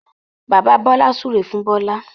Bàbà Bola súré fún Bola